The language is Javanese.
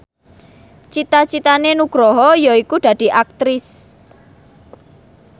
cita citane Nugroho yaiku dadi Aktris